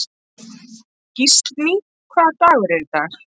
Gíslný, hvaða dagur er í dag?